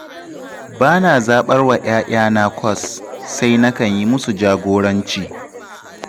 Ba na zaɓar wa 'ya'yana kwas, sai nakan yi musu jagoranci.